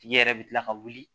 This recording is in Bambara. Tigi yɛrɛ bɛ tila ka wuli